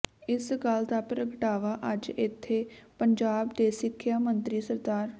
ਇਸ ਗੱਲ ਦਾ ਪ੍ਰਗਟਾਵਾ ਅੱਜ ਇਥੇ ਪੰਜਾਬ ਦੇ ਸਿੱਖਿਆ ਮੰਤਰੀ ਸ